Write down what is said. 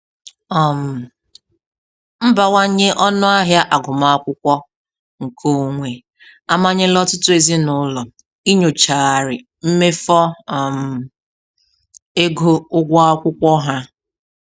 um Mbawanye ọnụahịa agụmakwụkwọ nke onwe amanyela ọtụtụ ezinụlọ inyochagharị mmefo um ego ụgwọ akwụkwọ ha.